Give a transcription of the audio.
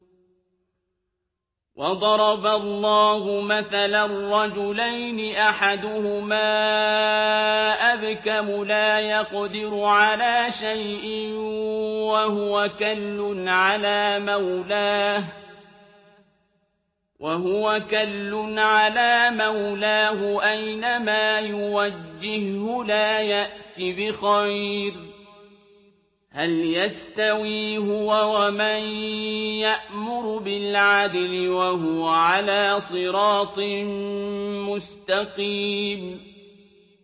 وَضَرَبَ اللَّهُ مَثَلًا رَّجُلَيْنِ أَحَدُهُمَا أَبْكَمُ لَا يَقْدِرُ عَلَىٰ شَيْءٍ وَهُوَ كَلٌّ عَلَىٰ مَوْلَاهُ أَيْنَمَا يُوَجِّههُّ لَا يَأْتِ بِخَيْرٍ ۖ هَلْ يَسْتَوِي هُوَ وَمَن يَأْمُرُ بِالْعَدْلِ ۙ وَهُوَ عَلَىٰ صِرَاطٍ مُّسْتَقِيمٍ